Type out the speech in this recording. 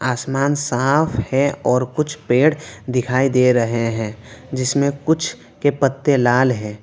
आसमान साफ है और कुछ पेड़ दिखाई दे रहे है जिसमें कुछ के पत्ते लाल है।